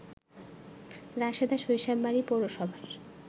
রাশেদা সরিষাবাড়ি পৌরসভার